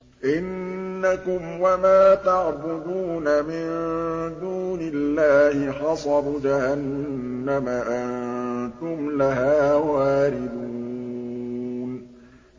إِنَّكُمْ وَمَا تَعْبُدُونَ مِن دُونِ اللَّهِ حَصَبُ جَهَنَّمَ أَنتُمْ لَهَا وَارِدُونَ